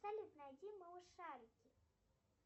салют найди малышарики